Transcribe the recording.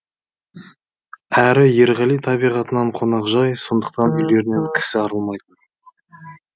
әрі ерғали табиғатынан қонақжай сондықтан үйлерінен кісі арылмайтын